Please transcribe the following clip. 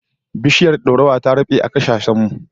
Biishiyar dorawa ta dade a kasashen mu